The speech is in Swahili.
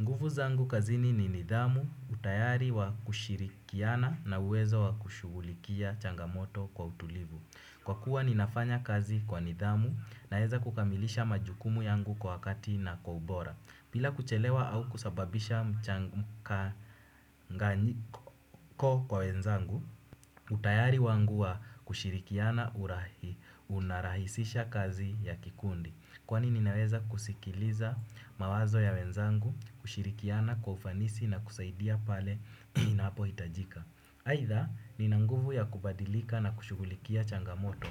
Nguvu zangu kazini ni nidhamu utayari wa kushirikiana na uwezo wa kushugulikia changamoto kwa utulivu. Kwa kuwa ninafanya kazi kwa nidhamu naeza kukamilisha majukumu yangu kwa wakati na kwa ubora. Bila kuchelewa au kusababisha mchanganyiko kwa wenzangu, utayari wangu wa kushirikiana unarahisisha kazi ya kikundi. Kwani ninaweza kusikiliza mawazo ya wenzangu, kushirikiana kwa ufanisi na kusaidia pale ninapo hitajika. Haitha, nina nguvu ya kubadilika na kushugulikia changamoto.